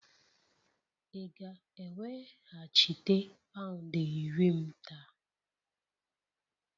Ị ga-eweghachite pound iri m taa?